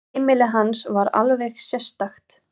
Heimili hans var alveg sérstakt.